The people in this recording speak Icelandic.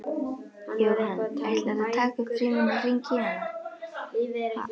Jóhann: Ætlarðu að taka upp símann og hringja í hana?